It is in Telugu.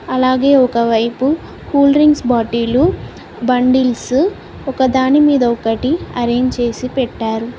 అలాగే ఒకవైపు కూల్ డ్రింక్స్ బాటిలు బండిల్సు ఒకదాని మీద ఒకటి అరేంజ్ చేసి పెట్టారు.